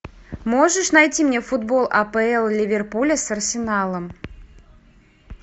можешь найти мне футбол апл ливерпуля с арсеналом